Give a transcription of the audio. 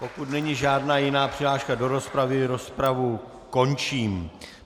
Pokud není žádná jiná přihláška do rozpravy, rozpravu končím.